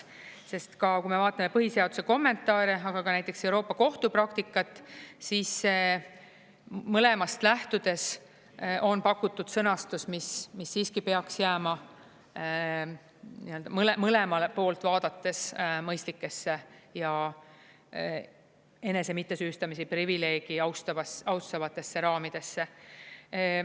Sest kui me vaatame põhiseaduse kommentaare, aga ka näiteks Euroopa Kohtu praktikat, siis mõlemast lähtudes on pakutud sõnastus, mis siiski peaks jääma mõlemalt poolt vaadates mõistlikesse ja enese mittesüüstamise privileegi austavatesse raamidesse.